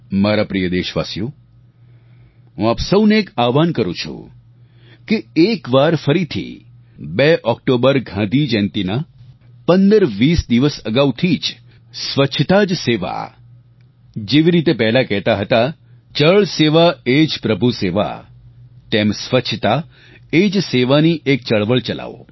મારા પ્રિય દેશવાસીઓ હું આપ સૌને એક આહ્વાન કરું છું કે એકવાર ફરીથી 2 ઓક્ટોબર ગાંધી જયંતીના 1520 દિવસ અગાઉ થી જ સ્વચ્છતા જ સેવા જેવી રીતે પહેલા કહેતા હતા જલ સેવા એ જ પ્રભુ સેવા તેમ સ્વચ્છતા એ જ સેવા ની એક ચળવળ ચલાવો